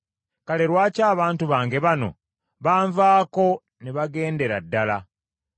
Kale lwaki abantu bange bano banvaako ne bagendera ddala?